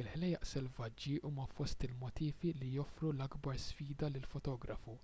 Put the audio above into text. il-ħlejjaq selvaġġi huma fost il-motifi li joffru l-akbar sfida lill-fotografu